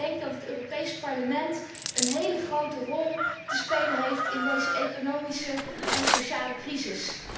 Ik denk dat het Europees Parlement een heel grote rol te spelen heeft in deze economische en sociale crisis.